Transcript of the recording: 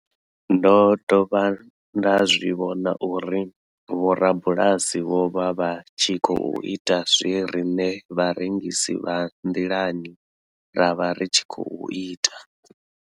Ndo dovha nda zwi vhona uri vhorabulasi vho vha vha tshi khou ita zwe riṋe vharengisi vha nḓilani ra vha ri tshi khou ita.